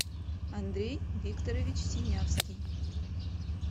андрей викторович синявский